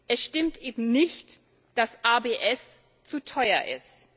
Es stimmt eben nicht, dass ABS zu teuer ist.